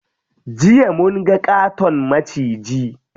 Jiya munga ƙaton maciji.